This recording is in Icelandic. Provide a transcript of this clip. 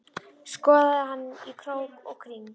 Skoðaði hana í krók og kring.